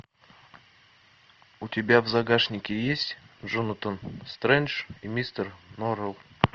у тебя в загашнике есть джонатан стрендж и мистер норрелл